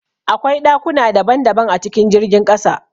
Akwai ɗakuna daban daban a cikin jirgin ƙasa